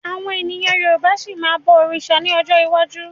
Àwọn èèyàn Yorùbá máa ṣì ma bọ̀ òrìṣà ní ọjọ́ iwájú